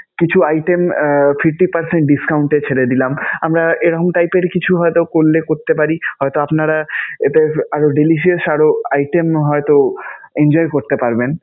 কিছু item ah fifty percent discount এ ফেলে দিলাম. আমরা এরকম type এর কিছু হয়তো করলে করতে পারি. হয়তো আপনারা এতে আরও delicious আরও item হয়তো enjoy করতে পারবেন.